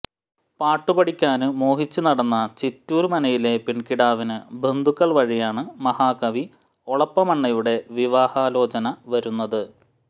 പാട്ടുപഠിക്കാന് മോഹിച്ച് നടന്ന ചിറ്റൂര് മനയിലെ പെണ്കിടാവിന് ബന്ധുക്കള് വഴിയാണ് മഹാകവി ഒളപ്പമണ്ണയുടെ വിവാഹാലോചന വരുന്നത്